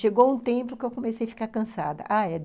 Chegou um tempo que eu comecei a ficar cansada.